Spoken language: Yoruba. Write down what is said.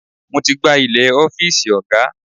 Mo ti gbá ilẹ̀ ọ́fíìsì ọ̀gá.